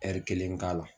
kelen k'a la